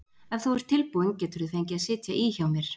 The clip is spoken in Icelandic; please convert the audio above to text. Ef þú ert tilbúin geturðu fengið að sitja í hjá mér.